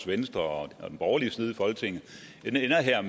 venstre og den borgerlige side af folketinget